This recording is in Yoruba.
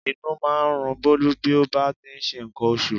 Inú máa ń run Bólú bí ó bá ti ń ṣe nǹkan oṣù